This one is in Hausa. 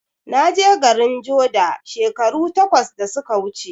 Naje garin joda shekaru takwas da suka wuce